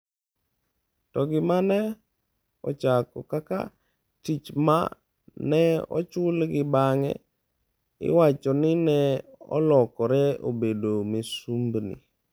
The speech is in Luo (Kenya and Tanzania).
To gima ne ochako kaka tich ma ne ochulgi bang’e, iwacho ni ne olokore obedo misumbni.